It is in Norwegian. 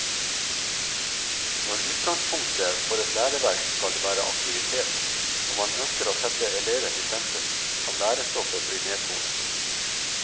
Når utgangspunktet for et læreverk skal være aktivitet, og man ønsker å sette eleven i sentrum, kan lærestoffet bli nedtonet.